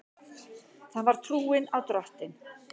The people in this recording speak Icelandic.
Það var trúin á Drottin.